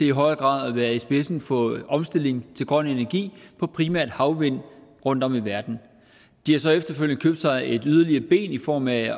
i højere grad at være i spidsen for omstillingen til grøn energi fra primært havvind rundtom i verden de har så efterfølgende købt sig et yderligere ben i form af